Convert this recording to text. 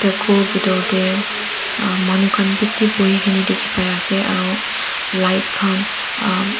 ghor bitor tae manu khan bishi boikae na dikhipaiase aro light khan--